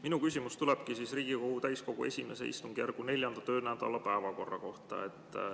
Minu küsimus tulebki Riigikogu täiskogu I istungjärgu 4. töönädala päevakorra kohta.